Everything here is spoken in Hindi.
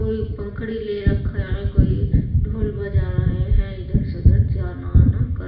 कोई पंखुड़ी ले रखा है कोई ढोल बजा रहा है इधर से उधर जाना आना कर रहे।